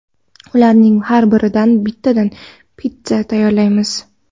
Ularning har biridan bittadan pitssa tayyorlaymiz.